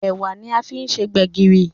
Ẹ̀wà ní a fí se gbegiri